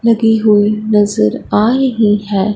लगी हुई नजर आ रही है।